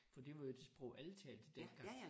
For det var jo det sprog alle talte dengang